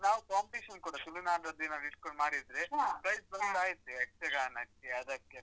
ನಾವು competition ಕೂಡ ತುಳುನಾಡಿನದ್ದೇನಾದ್ರು ಇಟ್ಕೊಂಡ್ ಮಾಡಿದ್ರೆ prize ಬಂದಾಯ್ತು, ಯಕ್ಷಗಾನಕ್ಕೆ ಅದಕ್ಕೆಲ್ಲ.